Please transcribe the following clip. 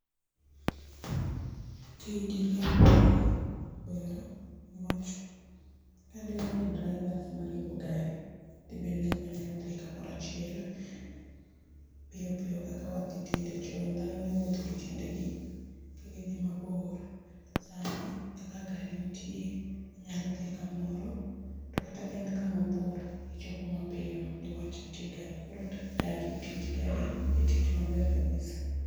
Tij riembo gari ber niwach kade waonge drivers mariembo gari dibedni ok wanyal dhi kamoro achiel piyo piyo kaka wadhi tinde, chon dhano ne wuotho gi tiendegi ka gidhi mabor, sani kaka gari nitie, inyalo dhi kamoro to kata kaen kama bor, ichopo mapiyo nikech nitie gari, koro tij gari en tich maber kabisa